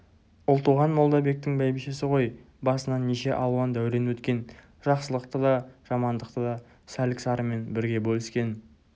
ұлтуған молдабектің бәйбішесі ғой басынан неше алуан дәурен өткен жақсылықты да жамандықты да сәлік-сарымен бірге бөліскен